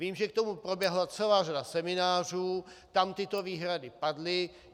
Vím, že k tomu proběhla celá řada seminářů, tam tyto výhrady padly.